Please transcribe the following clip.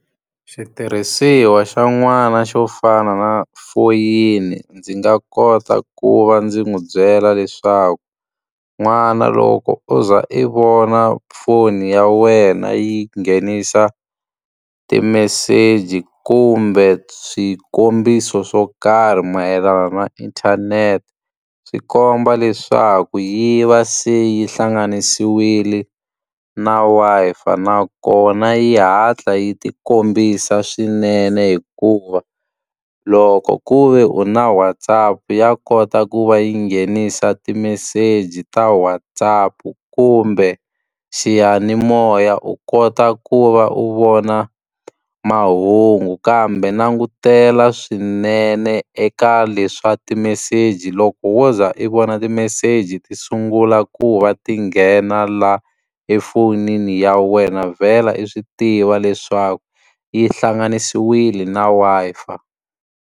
Xitirhisiwa xa n'wana xo fana na foyini ndzi nga kota ku va ndzi n'wi byela leswaku, n'wana loko u za i vona foni ya wena yi nghenisa timeseji kumbe swikombiso swo karhi mayelana na inthanete, swi komba leswaku yi va se yi hlanganisiwile na Wi-Fi. Nakona yi hatla yi ti kombisa swinene hikuva loko ku ve u na WhatsApp ya kota ku va yi nghenisa timeseji ta WhatsApp kumbe xiyanimoya u kota ku va u vona mahungu. Kambe langutela swinene eka leswi swa timeseji, loko wo za i vona timeseji ti sungula ku va ti nghena laha efonini ya wena vhela i swi tiva leswaku yi hlanganisiwile na Wi-Fi.